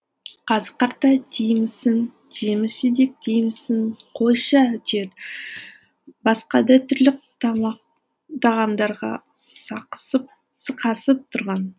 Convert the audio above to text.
қазы қарта деймісің жеміс жидек деймісің қойшы әйтеуір басқа да түрлі тағамдарға сықасып тұрған